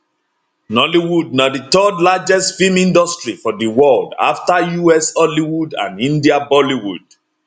nollywood na di third largest film industry for di world afta us hollywood and india bollywood